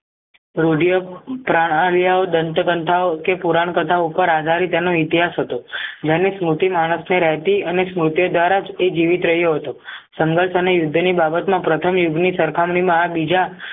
રીઢી યોગ પ્રણાલીઓ દંત ક્નથાઓ કે પુરાણ કથાઓ ઉપર આધારી તેનો ઇતિહાસ હતો જેની સ્મૂતિ રાયથી અને સ્મૃતિ દ્વારાજ એ જીવિત રહ્યો હતો સંધર્ષ અને યુદ્ધની બાબતમાં પ્રથમ યુદ્ધની સરખામણીમાં આ બીજા